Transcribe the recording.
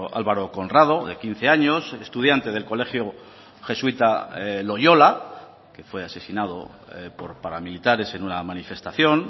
álvaro conrado de quince años estudiante del colegio jesuita loyola que fue asesinado por paramilitares en una manifestación